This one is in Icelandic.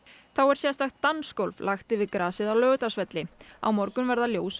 þá er sérstakt dansgólf lagt yfir grasið á Laugardalsvelli á morgun verða ljós og